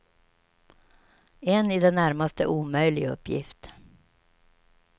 En i det närmaste omöjlig uppgift.